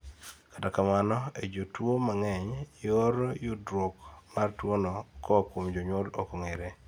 kata kamano,e jotuwo mang'eny, yor yudruok mar tuwono koa kuom jonyuol ok ong'ere